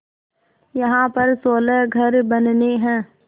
यहाँ पर सोलह घर बनने हैं